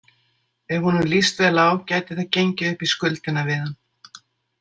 Ef honum líst vel á gæti það gengið upp í skuldina við hann.